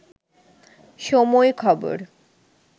সময় খবর